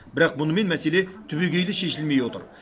бірақ мұнымен мәселе түбегейлі шешілмей отыр